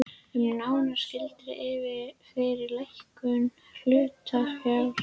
um nánari skilyrði fyrir lækkun hlutafjár.